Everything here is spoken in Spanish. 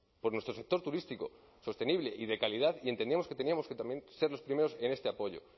por nuestro sector turístico sostenible y de calidad y entendíamos que teníamos que también ser los primeros en este apoyo